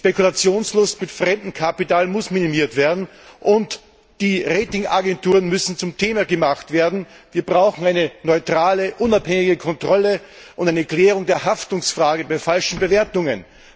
Die Spekulationslust mit fremdem Kapital muss minimiert werden, und die Rating Agenturen müssen zum Thema gemacht werden. Wir brauchen eine neutrale, unabhängige Kontrolle und eine Klärung der Haftungsfrage bei falschen Bewertungen.